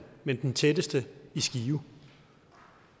men den tætteste i skive